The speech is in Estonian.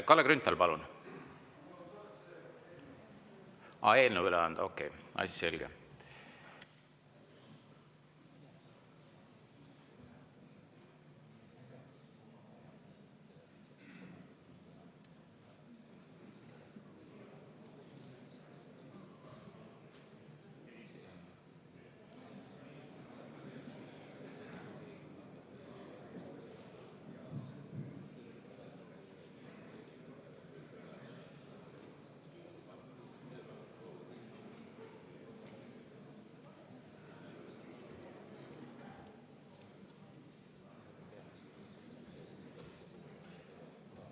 Kalle Grünthal, palun!